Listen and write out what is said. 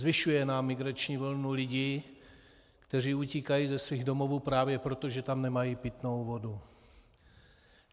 Zvyšuje nám migrační vlnu lidí, kteří utíkají ze svých domovů právě proto, že tam nemají pitnou vodu.